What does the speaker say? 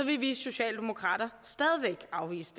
vi socialdemokrater stadig væk afvise